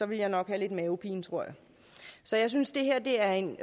jeg nok have lidt mavepine tror jeg så jeg synes det her er en